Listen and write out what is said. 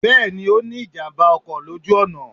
Bẹ́ẹ̀ni, o ní ìjàmbá ọkọ̀ lójú ọ̀nà